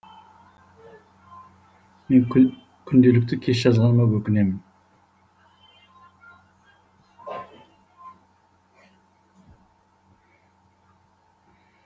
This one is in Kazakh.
мен күнделікті кеш жазғаныма өкінемін